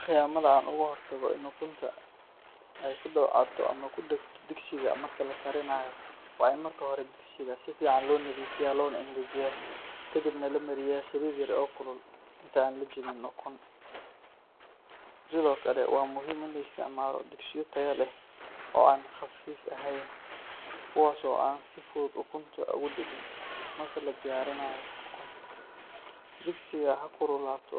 Khiyamada aan uga hortagay in ukunta ay ku dabcato ama ku dhegto digsiga marka la karinayo waa in marka hore digsiga si fiican loo nadiifiyaa loona engejiyaa, kadibna la mariyaa saliid yar oo kulul inta aan la jebin ukun. Sidoo kale, waa muhiim in la isticmaalo digsiyo tayo leh oo aan khafiif ahayn, kuwaas oo aan si fudud ukunta ugu dhegin. Marka la diyaarinayo ukunta, digsiga ha kululaado